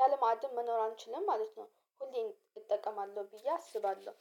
ያለ ማዕድን መኖር አንችልም ማለት ነው። ሁሌም እጠቀማለሁ ብዬ አስባለሁ